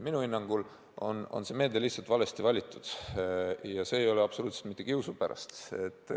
Minu hinnangul on see meede lihtsalt valesti valitud, ja ma ei ütle seda absoluutselt mitte kiusu pärast.